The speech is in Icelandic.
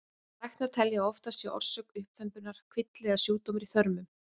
Læknar telja að oftast sé orsök uppþembunnar kvilli eða sjúkdómur í þörmum.